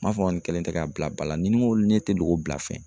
N m'a fɔ nin kelen tɛ k'a bila ba la ni ko ne tɛ loko bila fɛn.